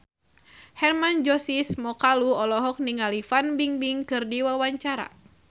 Hermann Josis Mokalu olohok ningali Fan Bingbing keur diwawancara